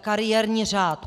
kariérní řád.